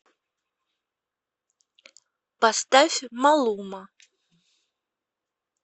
поставь малума